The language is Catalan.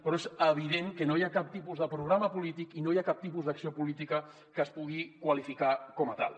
però és evident que no hi ha cap tipus de programa polític i no hi ha cap tipus d’acció política que es pugui qualificar com a tal